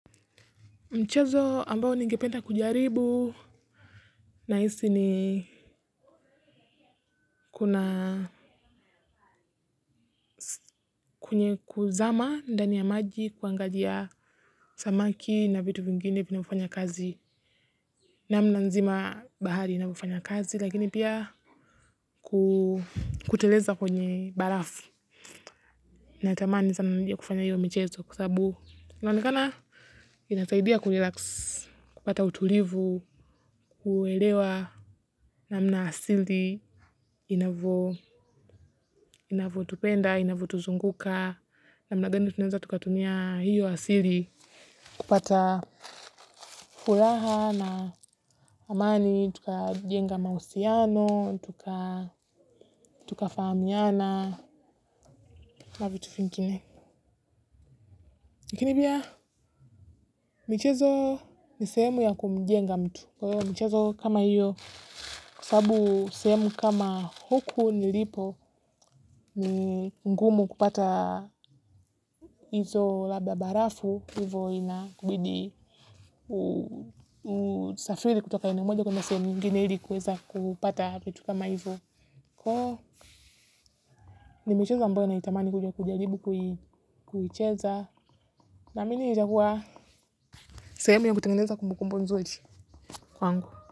Mchezo ambao ningependa kujaribu nahisi ni kuna kwenye kuzama ndani ya maji kuangalia samaki na vitu vingine vinavyofanya kazi. Namna nzima bahari inavyofanya kazi lakini pia kuteleza kwenye barafu. Natamani sana nije kufanya hio michezo kwa sababu. Inaonekana inasaidia kurelax, kupata utulivu, kuelewa namna asili. Inavyotupenda, inavyotuzunguka namna gani tunaweza tukatumia hiyo asili. Kupata furaha na amani tukajenga mahusiano tukafahamiana na vitu vingine. Lakini pia, michezo ni sehemu ya kumjenga mtu. Michezo kama hiyo kwa sababu sehemu kama huku nilipo ni mgumu kupata hizo labda barafu hivyo inakubidi usafiri kutoka eneo moja kuenda sehemu nyingine ili kuweza kupata vitu kama hivyo ni michezo ambayo naitamani kuja kujaribu kuicheza namini itakuwa sehemu ya kutengeneza kumbukumbu nzuri kwangu.